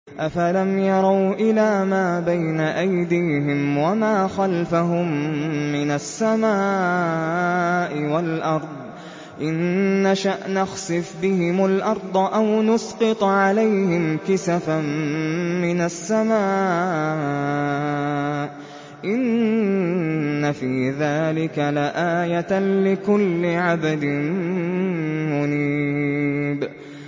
أَفَلَمْ يَرَوْا إِلَىٰ مَا بَيْنَ أَيْدِيهِمْ وَمَا خَلْفَهُم مِّنَ السَّمَاءِ وَالْأَرْضِ ۚ إِن نَّشَأْ نَخْسِفْ بِهِمُ الْأَرْضَ أَوْ نُسْقِطْ عَلَيْهِمْ كِسَفًا مِّنَ السَّمَاءِ ۚ إِنَّ فِي ذَٰلِكَ لَآيَةً لِّكُلِّ عَبْدٍ مُّنِيبٍ